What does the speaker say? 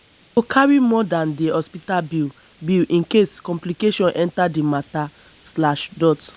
i go carry more dan di hospital bill bill incase complication enta di mata.